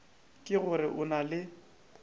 ke gore o na le